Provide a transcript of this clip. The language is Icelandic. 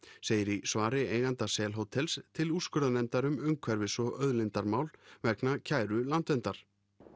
segir í svari eiganda sel hótels til úrskurðarnefndar um umhverfis og auðlindamál vegna kæru Landverndar